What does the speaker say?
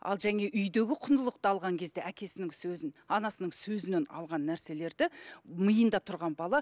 ал енді жәңегі үйдегі құндылықты алған кезде әкесінің сөзін анасының сөзінен алған нәрселерді миында тұрған бала